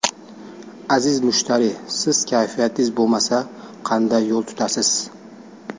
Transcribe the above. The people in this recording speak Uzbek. Aziz mushtariy, siz kayfiyatingiz bo‘lmasa, qanday yo‘l tutasiz?